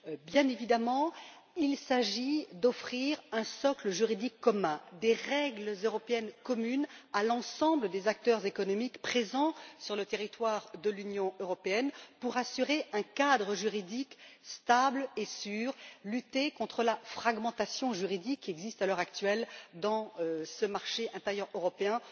Bien évidemment, il s'agit d'offrir un socle juridique commun, des règles européennes communes à l'ensemble des acteurs économiques présents sur le territoire de l'Union européenne, de façon à assurer un cadre juridique stable et sûr. Il s'agit de lutter contre la fragmentation juridique qui existe à l'heure actuelle dans ce marché intérieur européen